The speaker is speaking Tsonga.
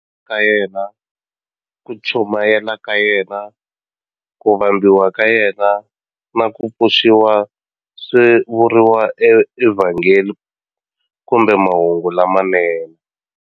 Ka yena, ku chumayela ka yena, ku vambiwa ka yena, na ku pfuxiwa swi vuriwa eVhangeli kumbe Mahungu lamanene.